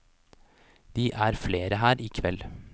De er flere her i kveld.